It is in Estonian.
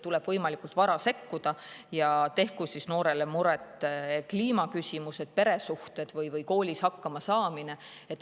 Tuleb võimalikult vara sekkuda, tehku siis noorele muret kliimaküsimused, peresuhted või koolis hakkamasaamine.